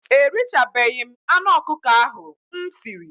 Erichabeghi m anụ ọkụkọ ahụ m siri.